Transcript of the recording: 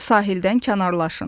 Sahildən kənarlaşın.